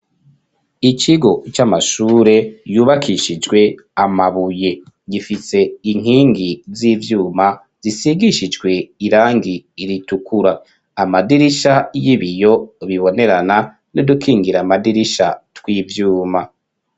Ikigo c'amashure yubakishijwe amabuye gifitse inkingi z'ivyuma zisigishijwe irangi ritukura amadirisha y'ibiyo bibonerana n'udukingira amadirisha tw'ivyuma.